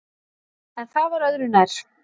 En það var öðru nær!